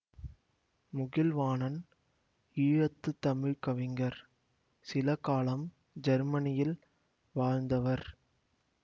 முகில்வாணன் ஈழத்து தமிழ் கவிஞர் சில காலம் ஜெர்மனியில் வாழ்ந்தவர்